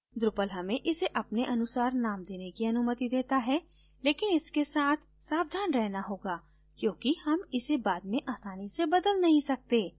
drupal हमें इसे अपने अनुसार name देने की अनुमति देता है लेकिन इसके साथ सावधान रहना होगा क्योंकि हम इसे बाद में आसानी से बदल नहीं सकते